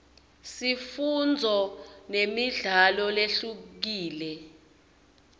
sifundzo nemidlalo lehlukile